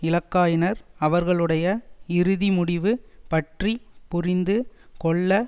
இலக்காயினர் அவர்களுடைய இறுதிமுடிவு பற்றி புரிந்து கொள்ள